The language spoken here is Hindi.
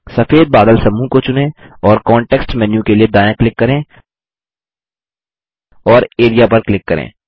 सफ़ेद बादल समूह को चुनें और कॉन्टेक्स्ट मेन्यू के लिए दायाँ क्लिक करें और एआरईए पर क्लिक करें